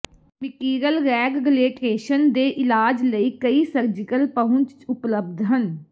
mitral regurgitation ਦੇ ਇਲਾਜ ਲਈ ਕਈ ਸਰਜੀਕਲ ਪਹੁੰਚ ਉਪਲਬਧ ਹਨ